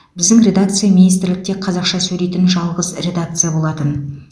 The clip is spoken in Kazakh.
біздің редакция министрлікте қазақша сөйлейтін жалғыз редакция болатын